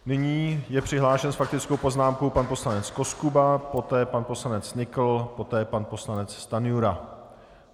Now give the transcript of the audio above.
Nyní je přihlášen s faktickou poznámkou pan poslanec Koskuba, poté pan poslanec Nykl, poté pan poslanec Stanjura.